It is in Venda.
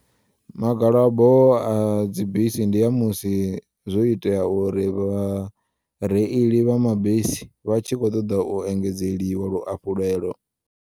Magalabo adzi bisi ndi a musi zwo iteya uri vhareili vha mabisi vha tshi kho ṱoḓa u engedzeliwa lwuafhulelo.